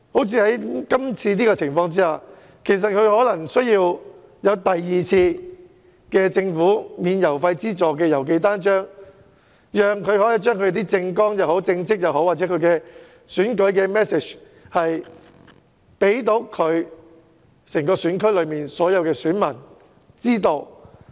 正如今次的情況，其實候選人可能需要政府提供第二次免付郵資郵寄單張的安排，讓他能夠將政綱、政績或選舉信息提供給整個選區的選民。